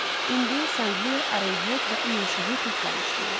İndi Sanqlia, Arovhet və İyun Şahı tək qalmışdılar.